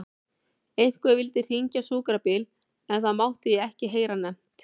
Einhver vildi hringja á sjúkrabíl en það mátti ég ekki heyra nefnt.